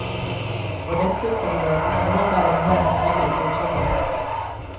Hvordan sikrer du dig, at dine medarbejdere har de nødvendige forudsætninger.